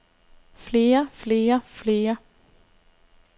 flere flere flere